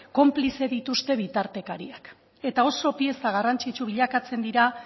konplize dituzte bitartekariak eta oso pieza garrantzitsu bilakatzen dira